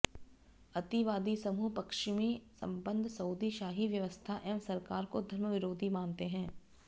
अतिवादी समूह पश्चिमी संबद्ध सऊदी शाही व्यवस्था एवं सरकार को धर्म विरोधी मानते हैं